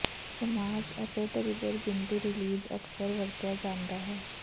massage ਅਤੇ trigger ਬਿੰਦੂ release ਅਕਸਰ ਵਰਤਿਆ ਜਾਂਦਾ ਹੈ